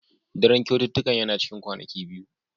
Daren kyaututtukan yana cikin kwanaki biyu.